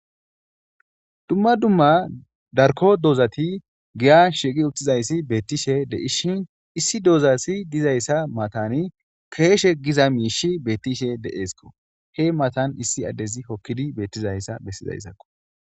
Dumma dumma darkko dozatti giyan shiqqi uttizayssi bettishe de'shin issi doza Asi dizayssa matani keshe Giza mishi bettishe de'eskko. he matan issi Adezi hokkidi bettizayssa bessizaysakko.